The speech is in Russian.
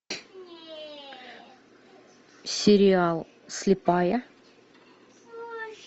сериал слепая